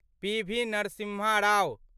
पी. V. Narasimha Rao